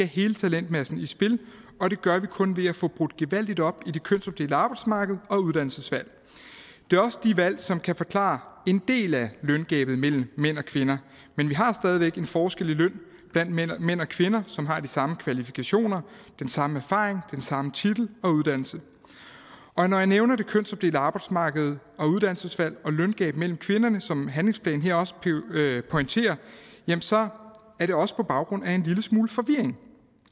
hele talentmassen i spil og det gør vi kun ved at få brudt gevaldigt op i det kønsopdelte arbejdsmarked og i uddannelsesvalget det er også de valg som kan forklare en del af løngabet mellem mænd og kvinder men vi har stadig væk en forskel i løn mellem mænd og kvinder som har de samme kvalifikationer den samme erfaring og den samme titel og uddannelse når jeg nævner det kønsopdelte arbejdsmarked uddannelsesvalget og løngabet mellem kvinder som handlingsplanen her også pointerer så er det også på baggrund af en lille smule forvirring